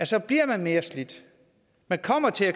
så bliver man mere slidt man kommer til at